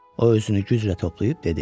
O özünü güclə toplayıb dedi.